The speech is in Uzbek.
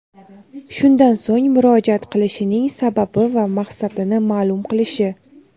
shundan so‘ng murojaat qilishining sababi va maqsadini maʼlum qilishi;.